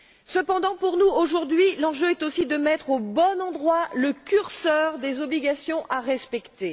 Cependant, pour nous aujourd'hui, l'enjeu est aussi de mettre au bon endroit le curseur des obligations à respecter.